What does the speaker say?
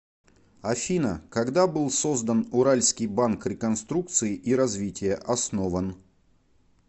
афина когда был создан уральский банк реконструкции и развития основан